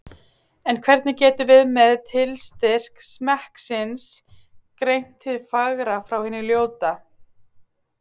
En hvernig getum við með tilstyrk smekksins greint hið fagra frá hinu ljóta?